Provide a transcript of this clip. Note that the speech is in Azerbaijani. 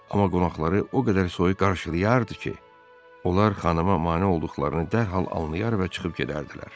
Amma qonaqları o qədər soyuq qarşılayardı ki, onlar xanımına mane olduqlarını dərhal anlaar və çıxıb gedərdilər.